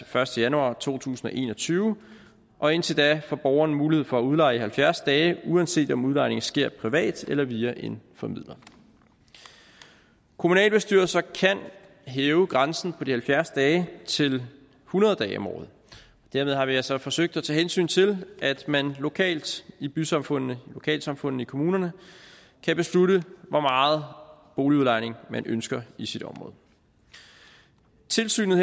første januar to tusind og en og tyve og indtil da får borgerne mulighed for at udleje i halvfjerds dage uanset om udlejning sker privat eller via en formidler kommunalbestyrelser kan hæve grænsen på halvfjerds dage til hundrede dage om året og dermed har vi altså forsøgt at tage hensyn til at man lokalt i bysamfundene i lokalsamfundene i kommunerne kan beslutte hvor meget boligudlejning man ønsker i sit område tilsynet